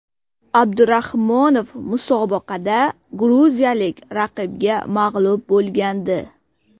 Abdurahmonov musobaqada gruziyalik raqibga mag‘lub bo‘lgandi.